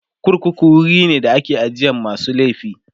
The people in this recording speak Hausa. korkuku wuri be da ake ajiye masu laifi